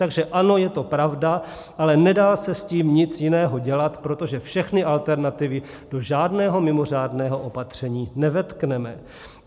Takže ano, je to pravda, ale nedá se s tím nic jiného dělat, protože všechny alternativy do žádného mimořádného opatření nevetkneme.